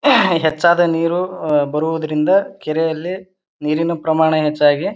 ಹೆಚ್ಚಾದ ನೀರು ಬರುವುದರಿಂದ ಕೆರೆಯಲ್ಲಿ ನೀರಿನ ಪ್ರಮಾಣ ಹೆಚ್ಚಾಗಿ--